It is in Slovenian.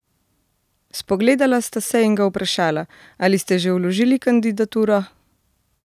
Spogledala sta se in ga vprašala: "Ali ste že vložili kandidaturo?